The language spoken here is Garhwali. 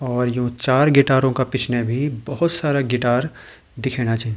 और यो चार गीटारों का पिछने भी बोहोत सारा गिटार दिखेणा छिन।